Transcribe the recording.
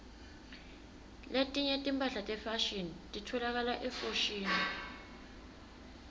letinye timphahla tefashini titfolakala efoshini